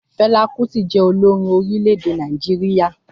Fẹla Kuti jẹ́ olórin orílẹ̀-èdè Nàìjíríà